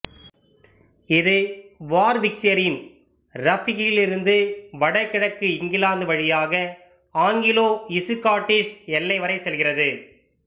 இது வார்விக்சையரின் ரக்பியிலிருந்து வடகிழக்கு இங்கிலாந்து வழியாக ஆங்கிலோஇசுகாட்டிஷ் எல்லை வரைச் செல்கிறது